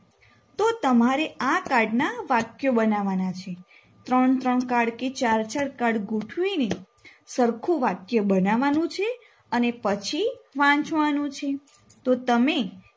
તો તમારે આ card ના વાક્યો બનાવાના છે ત્રણ ત્રણ card કે ચાર ચાર card ગોઠવીને સરખું વાક્ય બનાવાનું છે અને પછી વાંચવાનું તો તમે